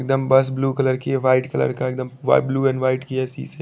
डमबस blue colour की है white colour का एक दम वा ब्लू एंड वाइट कलर के है सीसे--